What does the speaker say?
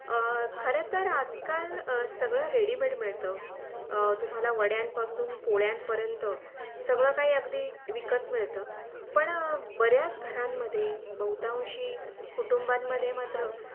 खरा तर आज काल सगळं Ready made मिळतं तुम्हाला वड्यां पासून पोळ्यां पर्यन्त सगळं काही अगदी विकत मिळतो पण बराच घरांमध्ये बहुतांशी कूठुंबामध्ये मात्र